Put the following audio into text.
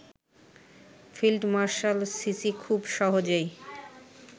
field marshal Sisi খুব সহজেই